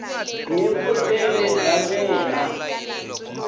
hi vutivi bya mina i